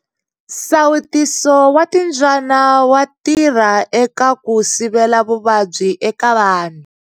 Nsawutiso wa timbyana wa tirha eka ku sivela vuvabyi eka vanhu.